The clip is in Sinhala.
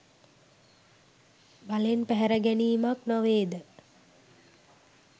බලෙන් පැහැර ගැනීමක් නොවේද?